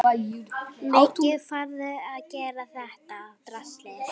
Í kringum níutíu kíló.